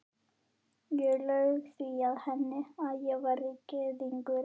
Ég laug því að henni, að ég væri gyðingur